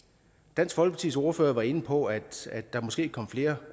dansk folkepartis ordfører var inde på at at der måske kommer flere